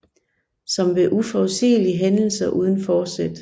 Som ved uforudsigelige hændelser uden forsæt